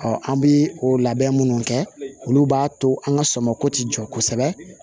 an bɛ o labɛn munnu kɛ olu b'a to an ka sɔmɔgo tɛ jɔ kosɛbɛ